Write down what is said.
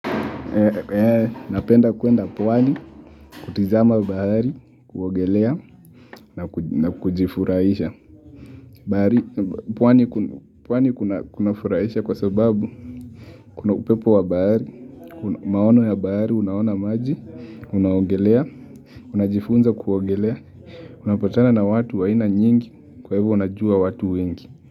Napenda kuenda pwani, kutizama bahari, kuogelea, na kujifurahisha. Pwani kunafurahisha kwa sababu, kuna upepo wa bahari, maono ya bahari, unaona maji, unaogelea, unajifunza kuogelea, unapatana na watu wa aina nyingi, kwa hivo najua watu wengi.